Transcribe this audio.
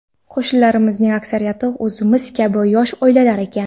Qo‘shnilarimizning aksariyati o‘zimiz kabi yosh oilalar ekan.